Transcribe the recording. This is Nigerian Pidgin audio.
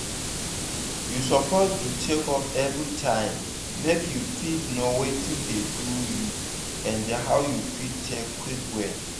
you suppose do checkup everytime make you fit know watin dey do you and how you fit take quick well.